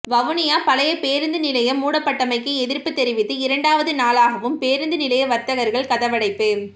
வவுனியா பழைய பேரூந்து நிலையம் மூடப்பட்டமைக்கு எதிர்ப்பு தெரிவித்து இரண்டாவது நாளாகவும் பேரூந்து நிலைய வர்த்தகர்கள் கதவடைப்பு